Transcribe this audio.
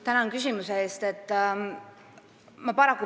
Tänan küsimuse eest!